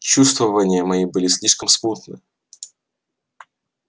чувствования мои были слишком смутны